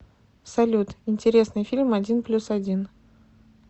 салют интересный фильм один плюс один